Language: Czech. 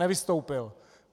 Nevystoupil.